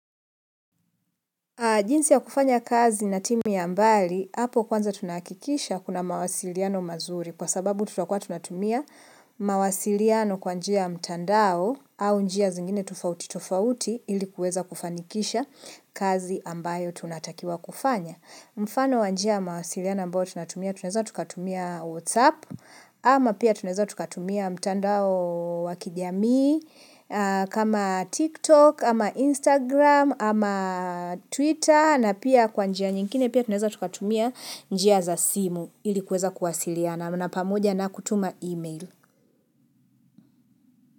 Jinsi ya kufanya kazi na timu ya mbali, hapo kwanza tunahakikisha kuna mawasiliano mazuri kwa sababu tutakua tunatumia mawasiliano kwa njia ya mtandao au njia zingine tofauti tofauti ili kuweza kufanikisha kazi ambayo tunatakiwa kufanya. Mfano wa njia ya mawasiliano mbao tunatumia tunaeza tukatumia whatsapp ama pia tunaeza tukatumia mtandao wa kijamii kama tiktok ama instagram ama twitter na pia kwa njia nyingine pia tunaeza tukatumia njia za simu ili kuweza kuwasiliana na pamoja na kutuma email.